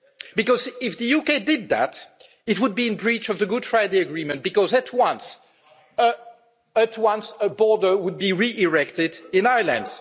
Because if the UK did that, it would be in breach of the Good Friday Agreement, because at once a border would be re erected in Ireland.